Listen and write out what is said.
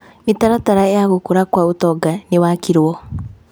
Mĩtaratara ya gũkũra kwa ũtonga nĩ wakirwo.